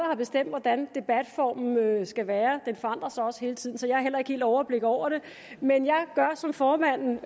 har bestemt hvordan debatformen skal være og den forandrer sig også hele tiden så jeg har heller ikke helt overblik over det men jeg gør som formanden